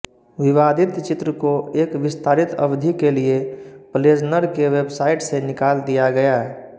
विवादित चित्र को एक विस्तारित अवधि के लिए प्लेज़नर के वेबसाइट से निकाल दिया गया